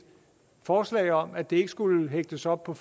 forslag om at det ikke skulle hægtes op på